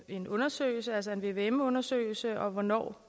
en undersøgelse altså en vvm undersøgelse og hvornår